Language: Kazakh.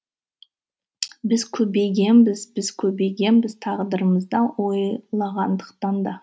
біз көбейгенбіз біз көбейгенбіз тағдырымызды ойлағандықтан да